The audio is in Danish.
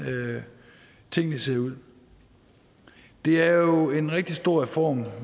tingene ser ud det er jo en rigtig stor reform